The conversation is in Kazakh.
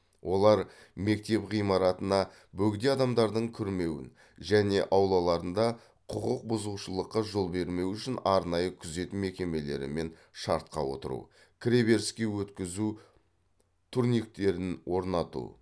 олар мектеп ғимаратына бөгде адамдардың кірмеуін және аулаларында құқық бұзушылыққа жол бермеу үшін арнайы күзет мекемелерімен шартқа отыру кіреберіске өткізу турниктерін орнату